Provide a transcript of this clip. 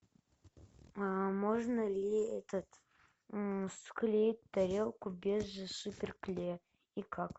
можно ли этот склеить тарелку без супер клея и как